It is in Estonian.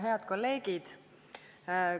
Head kolleegid!